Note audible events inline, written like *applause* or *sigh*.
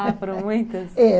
*laughs* Ah, foram muitas? É...